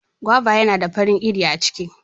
Guava yana da farin iri a ciki.